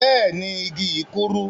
Bẹẹni, igi yi kúrú.